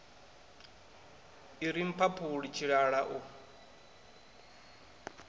i ri mphaphuli tshilala u